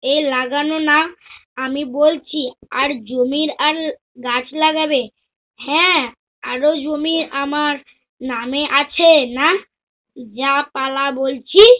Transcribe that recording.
এ লাগান না, আমি বলছি আর জমির আর গাছ লাগাবে। হ্যা আর জমি আমার নামে আছে না? যা পালা বলছি